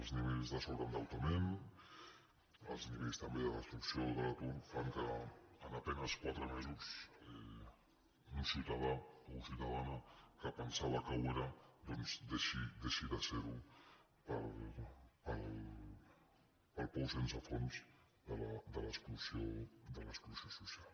els nivells de sobreendeutament els nivells també de destrucció de l’atur fan que en a penes quatre mesos un ciutadà o ciutadana que pensava que ho era doncs deixi de ser ho pel pou sense fons de l’exclusió social